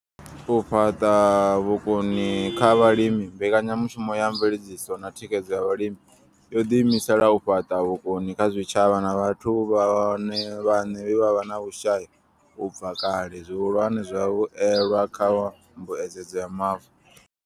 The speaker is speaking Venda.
U fhaṱa vhukoni kha vhalimi mbekanyamushumo ya mveledziso na thikhedzo ya vhalimi yo ḓiimisela u fhaṱa vhukoni kha zwitshavha na vhathu vhone vhaṋe vhe vha vha vhe na vhushai u bva kale, zwihulwane, vhavhuelwa kha mbuedzedzo ya mavu.